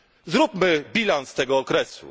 Zróbmy bilans tego okresu.